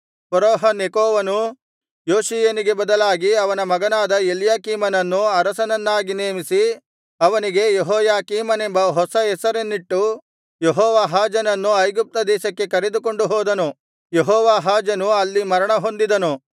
ಫರೋಹ ನೆಕೋವನು ಯೋಷೀಯನಿಗೆ ಬದಲಾಗಿ ಅವನ ಮಗನಾದ ಎಲ್ಯಾಕೀಮನನ್ನು ಅರಸನನ್ನಾಗಿ ನೇಮಿಸಿ ಅವನಿಗೆ ಯೆಹೋಯಾಕೀಮನೆಂಬ ಹೊಸ ಹೆಸರನ್ನಿಟ್ಟು ಯೆಹೋವಾಹಾಜನನ್ನು ಐಗುಪ್ತ ದೇಶಕ್ಕೆ ಕರೆದುಕೊಂಡು ಹೋದನು ಯೆಹೋವಾಹಾಜನು ಅಲ್ಲಿ ಮರಣ ಹೊಂದಿದನು